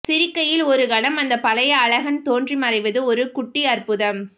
சிரிக்கையில் ஒரு கணம் அந்த பழைய அழகன் தோன்றி மறைவது ஒரு குட்டி அற்புதம்